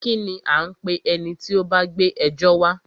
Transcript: Kínní a ń pé ẹni tí o bá gbé ẹjọ́ wa?